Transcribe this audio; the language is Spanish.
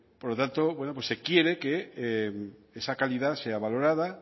por lo tanto se quiere que esa calidad se valorada